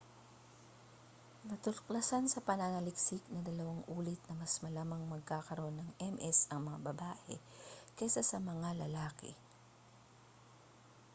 natuklasan sa pananaliksik na dalawang ulit na mas malamang magkakaroon ng ms ang mga babae kaysa sa mga lalaki